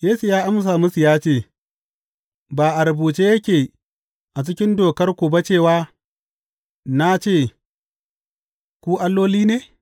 Yesu ya amsa musu ya ce, Ba a rubuce yake a cikin Dokarku ba cewa, Na ce ku alloli ne’?